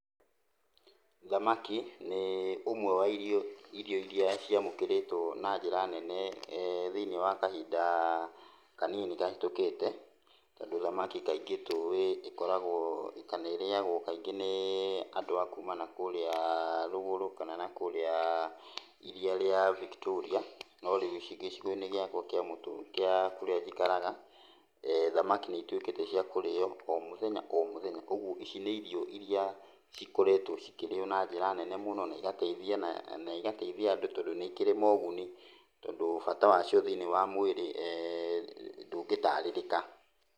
Thamaki nĩ ũmwe wa irio iria ciamũkĩrĩtwo na njĩra nene thĩiniĩ wa kahinda kanini kahĩtũkĩte. Tondũ thamaki kaingĩ tũĩ ĩkoragwo kana ĩrĩagwo kaingĩ nĩ andũ a kuma na kũrĩa rũgũrũ kana nakũrĩa iria rĩa Victoria, no rĩu ici gĩcigo-inĩ gĩakwa gĩa kũrĩa njikaraga, thamaki nĩituĩkĩte cia kũrĩo o mũthenya o mũthenya. Ũguo ici nĩ irio iria cikoretwo cikĩrĩo na njĩra nene mũno na igateithia, na igateithia andũ tondũ nĩikĩrĩ moguni, tondũ bata wacio thĩiniĩ wa mwĩrĩ ndũngĩtarĩrĩka.